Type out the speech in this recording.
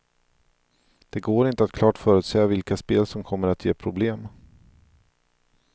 Det går inte att klart förutsäga vilka spel som kommer att ge problem.